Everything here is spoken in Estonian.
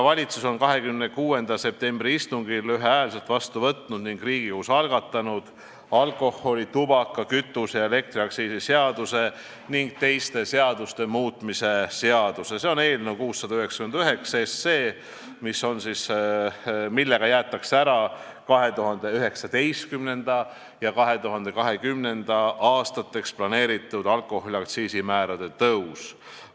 Valitsus võttis 26. septembri istungil ühehäälselt vastu otsuse ning Riigikogus algatati alkoholi-, tubaka-, kütuse- ja elektriaktsiisi seaduse ning teiste seaduste muutmise seaduse eelnõu 699, millega jäetakse ära 2019. ja 2020. aastaks planeeritud alkoholi aktsiisimäärade tõus.